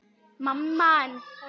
Hvaða myndir tóku þeir?